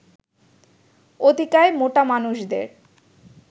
অতিকায় মোটা মানুষদের